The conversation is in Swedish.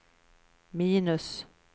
minus